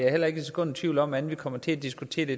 heller ikke et sekund i tvivl om at vi kommer til at diskutere det